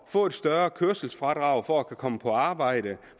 få et større kørselsfradrag for at kunne komme på arbejde